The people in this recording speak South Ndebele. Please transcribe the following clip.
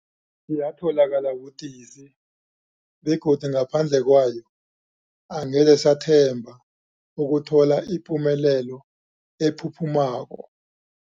Yatholakala budisi, begodu ngaphandle kwayo angeze sathemba ukuthola ipumelelo ephuphumako.